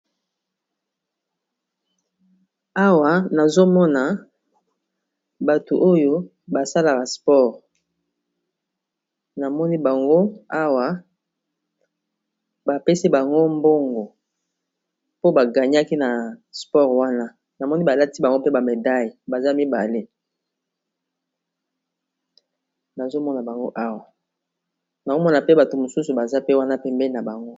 Awa nazomona bato oyo basalaka sport namoni bazo pesa bango mbongo mpo bagangnaki awa namoni balati bango pe bamedaille bato mosusu baza pe wana pembe na bango